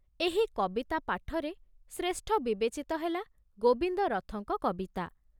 ଏହି କବିତା ପାଠରେ ଶ୍ରେଷ୍ଠ ବିବେଚିତ ହେଲା ଗୋବିନ୍ଦ ରଥଙ୍କ କବିତା।